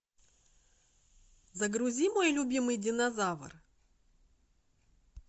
загрузи мой любимый динозавр